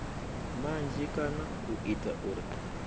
manzhi kana u ita uri